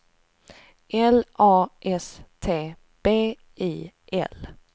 L A S T B I L